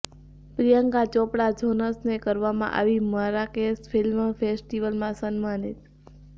પ્રિયંકા ચોપડા જોનસને કરવામાં આવી મરાકેશ ફિલ્મ ફેસ્ટિવલમાં સન્માનિત